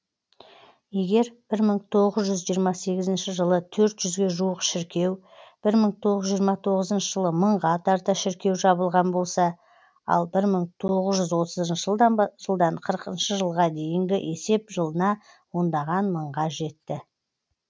егер бір мың тоғыз жүз жиырма сегізінші жылы төрт жүзге жуық шіркеу бір мың тоғыз жүз жиырма тоғызыншы жылы мыңға тарта шіркеу жабылған болса ал бір мың тоғыз жүз отызыншы жылдан бір мың тоғыз жүз қырықыншы жылға дейінгі есеп жылына ондаған мыңға жетті